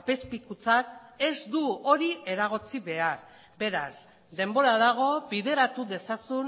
apezpikutzak ez du hori eragotzi behar beraz denbora dago bideratu dezazun